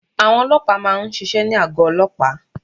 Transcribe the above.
Àwọn olóòpá má a nsisé ní àgọ́ olóòpá